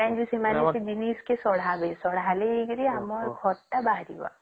ସେମାନେ ସେ ଜିନଷ କେ ଶଢାବେ ଷଢ଼ଲେ ଜିକେ ଆମର ଖଟ ତା ବାହାରିବା